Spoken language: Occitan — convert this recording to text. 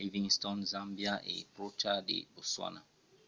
livingstone zambia e pròcha de botswana